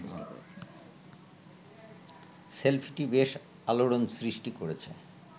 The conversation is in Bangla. সেলফিটি বেশ আলোড়ন সৃষ্টি করেছে